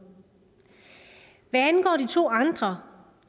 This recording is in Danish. hvad angår de to andre